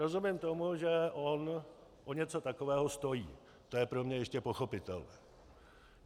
Rozumím tomu, že on o něco takového stojí, to je pro mě ještě pochopitelné.